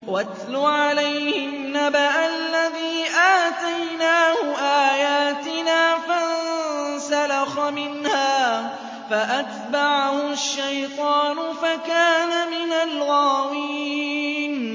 وَاتْلُ عَلَيْهِمْ نَبَأَ الَّذِي آتَيْنَاهُ آيَاتِنَا فَانسَلَخَ مِنْهَا فَأَتْبَعَهُ الشَّيْطَانُ فَكَانَ مِنَ الْغَاوِينَ